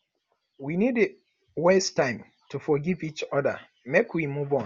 we no dey waste time to forgive each oda make we move on